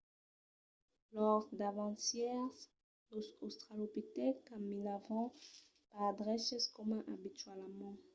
lors davancièrs los australopitècs caminavan pas dreches coma abitualament